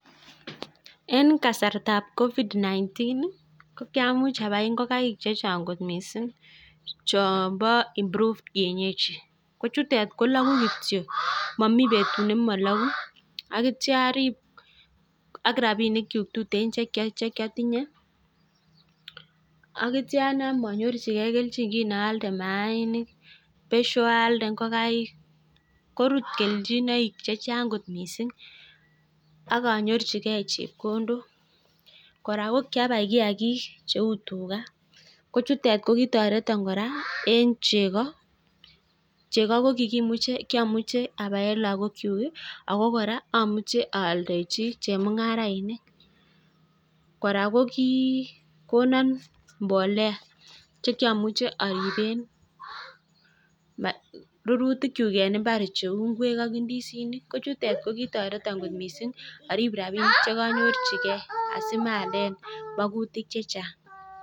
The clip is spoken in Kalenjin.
En kasartab Covid-19 ko kyamuch abai ngokaik che chang kot mising, chon bo improved kienyeji ko chutet kologu kityo momi betut nemologu ak kiityo orib ak rabinikyuk tuten che kiotinye. Ak kityo anam onyorchige kelchin kin aalde maainik besho alde ngokaik, korut kelchinoik che chang kot misng ak anyorchige chepkondok kora ko kiabai kiyagik cheu tuga, ko chutet ko kitoreton kora en chego, chego ko kyomuche abaen lagokyuk ago kora amuche aldechi chemung'arainik. Kora ko kigonon mbolea che kiamuche ariben rurutikyuk en mbar cheu beek ak ndisinik, ko chutet ko kitoreton kot mising arib rabinik che konyorjige asimaalen mogutik che chang.